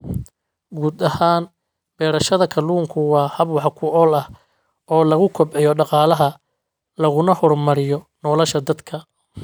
Guud ahaan, beerashada kalluunku waa hab wax ku ool ah oo lagu kobciyo dhaqaalaha laguna horumariyo nolosha dadka.